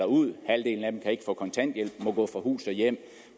ud halvdelen af dem kan ikke få kontanthjælp og må gå fra hus og hjem